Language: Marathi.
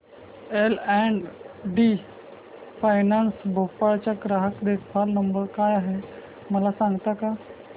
L and T finance Bhopal चा ग्राहक देखभाल नंबर काय आहे मला सांगता का